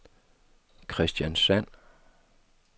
Kristiansand